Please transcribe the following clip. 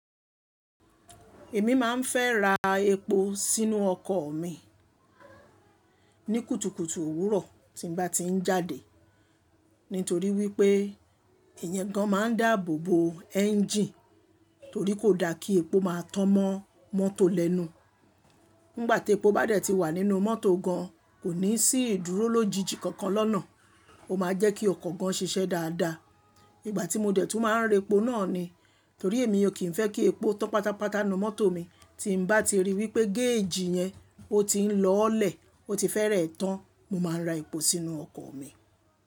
Èmi máa ń fẹ́ ra epo sínú ọkọ̀ mi ní kùtùkùtù òwúrọ̀ tí n bá ti ń jáde. Nítorí wípé iyẹn gan máa ń dáàbò bo ẹ́ńjìnì torí kò da kí epo máa tọ́n mọ́ mọ́tò lẹ́nu. Nígbà tí epo bá dà ti wà nínú mọ́tò gan, kò ní sí ìdúró lójijì kankan lọ́nà. Ó máa jẹ́ kí ọkọ̀ gan ṣiṣẹ́ dáadáa. Ìgbà tí mo dẹ̀ tún máa ń rẹ epo náà ni, torí èmi ò kí ń fẹ́ kí epo tọ́n pátápátá n nu mọ́tò mi. Tí n bá ti rí wípé gẹ́ẹ̀jì yẹn ó ti ń lọ́lẹ̀, ó ti fẹ́rẹ ẹ́ tán, mo máa ra epo sínú ọkọ̀ mi.